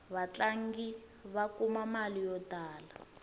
vatlangi va kuma mali yo tala